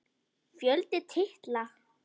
Fjöldi titla